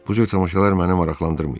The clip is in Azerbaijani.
Bu cür tamaşalar məni maraqlandırmayıb.